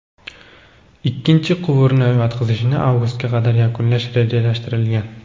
Ikkinchi quvurni yotqizishni avgustga qadar yakunlash rejalashtirilgan.